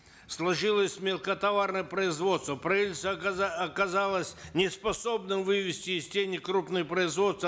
сложилось мелкотоварное производство правительство оказалось неспособным вывести из тени крупное производство